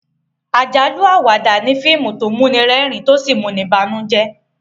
àjálù-Àwàdà ní fíìmù tó muni rérìn to sí muni bànújẹ